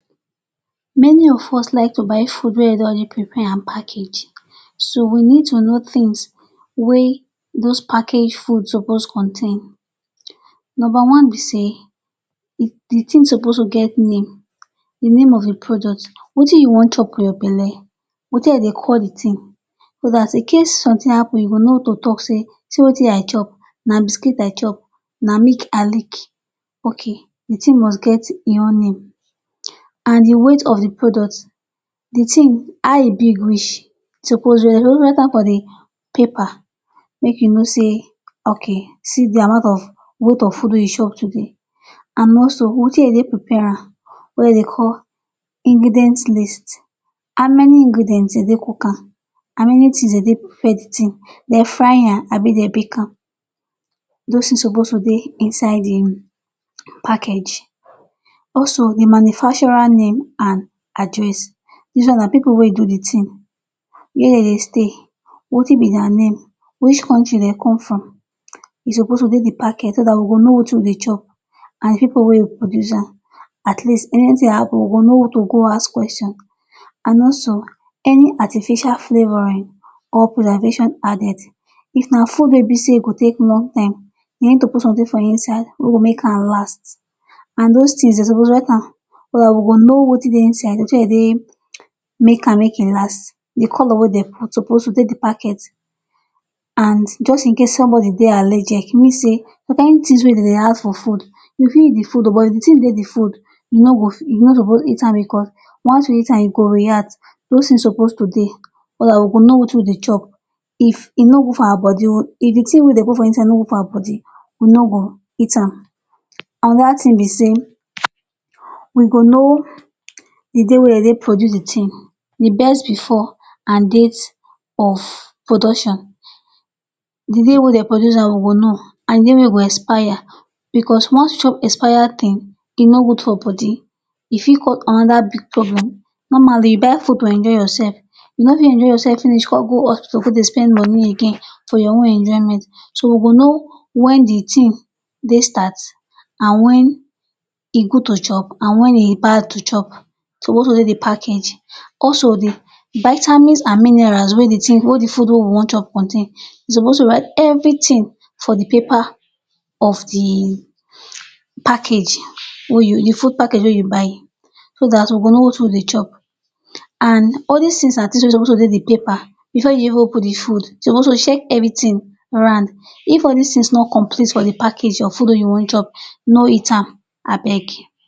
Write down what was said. Many of us like to buy food wey dem don already prepare and package, so we need to know tins wey dos package foods suppose contain. Number one be say di tin suppose get name. Di name of di product or wetin you wan chop for your belle wetin dem dey call di tin so dat in case somtin happun, you go know how to tok say, see wetin I chop. Na biscuit I chop, na milk I lick. Okay, di tin must get im own name and di weight of di product. Di tin, how e big reach, suppose dey paper. Make you no say, okay, see di amount of food, weight of food wey you chop today. And most of wetin dem take prepare am, wetin dem dey call ingredients list how many ingredients dem take cook am, how many tins dem take prepare di tin, dem fry am abi dem bake am dis tins suppose dey inside di package. Also, the manufacturer name and address. Dis one na pipu wey do di tin, where dem dey stay and wetin be dia name, which kontri dem come from, e suppose dey package so dat we go know wetin we dey chop and pipu wey produce am. At least if anytin happun, we go know who we go go ask questions. And also, any artificial flavouring or preservations added. If na food wey be say e go take long time, you need to put something inside wey go make am last, and dos tins dem suppose write am so dat we go know wetin dey inside, wetin dem take make am last. Di colour wey dem put suppose dey di package. And also, just in case if somebody dey allergic. You know say some kain tins wey dem dey add for food, you fit eat the oh, but if di tin dey di food, you no suppose eat am, bicos once you eat am, e go react. Dos tins suppose dey so dat we go know wetin we dey chop. If di tin wey dem put inside no dey our body, we no go eat am. Anoda tin be say we go know di date wey dem take produce di tin — di best before and date of production. Di day wey dem produce am we go know, and di day wey e go expire. Bicos once you chop expired tin, e no good for body. E fit cause anoda big problem. Normally, you buy food to enjoy yoursef, you no fit enjoy yoursef come go hospital go dey spend money again for your own enjoyment. So we go know wen di tin dey start to good to chop, and wen e bad to chop. Dis suppose dey di package. Also, di vitamins and minerals wey di food wey we wan chop contain, dem suppose write evritin for di paper of di package di food package wey you buy so dat we go know wetin we dey chop. And all dis tins na tins wey suppose dey di paper bifor you even open di food. You suppose to check evritin. If all dis tins no complete for di package of food wey you wan chop, no eat am abeg.